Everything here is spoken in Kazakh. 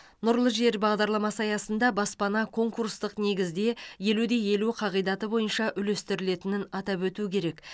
нұрлы жер бағдарламасы аясында баспана конкурстық негізде елу де елу қағидаты бойынша үлестірілетінін атап өту керек